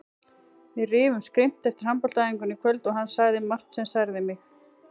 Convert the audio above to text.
Við rifumst grimmt eftir handboltaæfinguna í kvöld og hann sagði margt sem særði mig.